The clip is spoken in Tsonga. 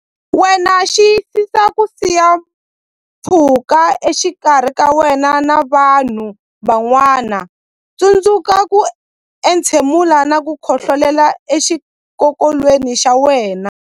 Wena Xiyisisa ku siya pfhuka exikarhi ka wena na vanhu van'wana Tsundzuka ku entshemula na ku khohlolela exikokolweni xa wena.